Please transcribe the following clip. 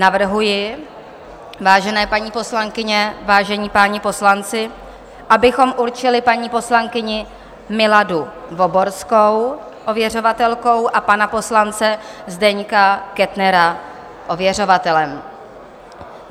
Navrhuji, vážené paní poslankyně, vážení páni poslanci, abychom určili paní poslankyni Miladu Voborskou ověřovatelkou a pana poslance Zdeňka Kettnera ověřovatelem.